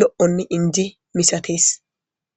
lo7onne injeko.